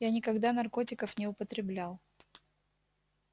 я никогда наркотиков не употреблял